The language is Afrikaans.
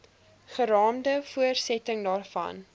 geraamde voortsetting daarvan